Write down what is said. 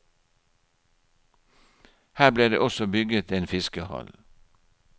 Her ble det også bygget en fiskehall.